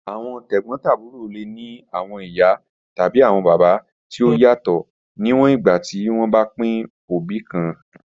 Awọn tegbotaburo le ni awọn iya tabi awọn baba ti o yatọ, niwọn igba ti wọn ba pin obi kan.